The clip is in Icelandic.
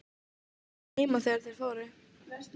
Pabbi var heima þegar þeir fóru.